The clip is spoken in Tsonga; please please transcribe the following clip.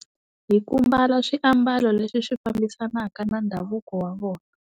Hi ku mbala swiambalo leswi swi fambisanaka na ndhavuko wa vona.